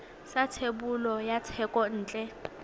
sa thebolo ya thekontle ya